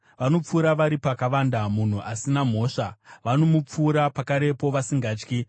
Vanopfura vari pakavanda munhu asina mhosva; vanomupfura pakarepo, vasingatyi.